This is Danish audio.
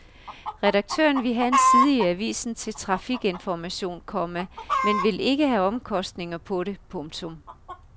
Redaktøren vil have en side i avisen til trafikinformation, komma men vil ikke have omkostninger på det. punktum